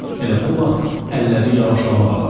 Elə bu vaxt əlləri yavaşlamağa başladı.